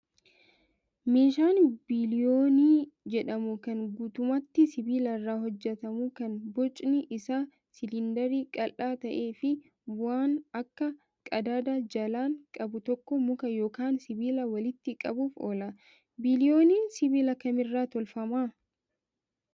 Meeshaan biliyoonii jedhamu kan guutummaatti sibiila irraa hojjatamu kan bconi isaa siliindarii qal'aa ta'ee fi waan akka qadaadaa jalaan qabu tokko muka yookaan sibiila walitti qabuuf oola. Biliyooniin sibiila kamirraa tolfamaa?